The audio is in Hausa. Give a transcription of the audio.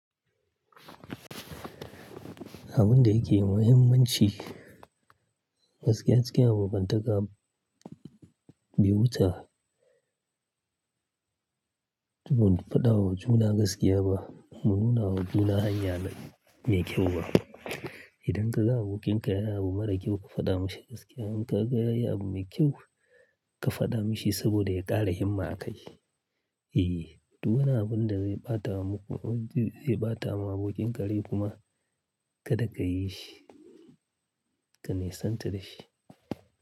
Abin da yake muhimmanci, gaskiya cikin abokantaka bai wuce Tuƙin faɗawa juna gaskiya ba, mununa wa juna hanya mai kyau ba. Idan ka ga abokin ka ya yi abu mara kyau, ka faɗa mashi gaskiya. In ka ga ya yi abu mai kyau, ka faɗa mashi saboda ya ƙara himma a kai. Eh, duk wani abun da zai bata wa mako, zai bata wa abokin kare kuma kada ka yi shi, ka nisantar da shi.